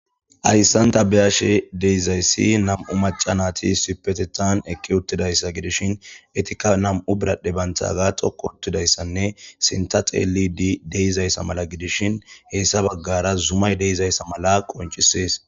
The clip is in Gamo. ayssanta beyashe deizayssi nam7u macanati sipetetan ekki uttidayssa gidishin etikka nam7u biradhe banthaga xokko uttidayssanne sinta xeeli di deizayssa mala gidishin hessa baggara zumay deizayssa mala qoncisees